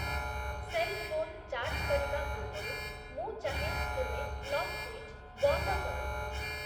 Cell phone charge କରିବା ପୂର୍ବରୁ ମୁଁ ଚାହେଁ ତୁମେ ପ୍ଲଗ୍ ସୁଇଚ୍ ବନ୍ଦ କର।